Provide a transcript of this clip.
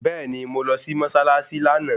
Bẹ́ẹ̀ni mo lọ sí mọ́ṣáláṣí lánàá